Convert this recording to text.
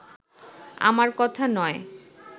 আমার কথা নয়